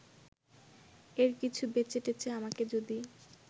এর কিছু বেচেটেচে আমাকে যদি